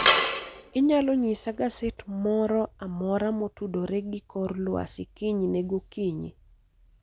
Inyalo nyisa gaset moro amora motudore gi kor lwasi kinyne gokinyi